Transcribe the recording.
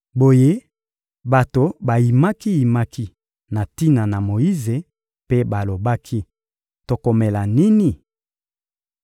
Boye bato bayimaki-yimaki na tina na Moyize mpe balobaki: «Tokomela nini?»